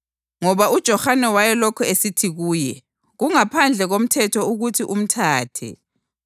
ngoba uJohane wayelokhu esithi kuye, “Kungaphandle komthetho ukuthi umthathe.”